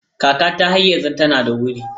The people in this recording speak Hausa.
Kakata har yanzu tana da wuri.